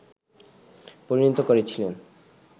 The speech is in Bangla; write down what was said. পরিণত করেছিলেন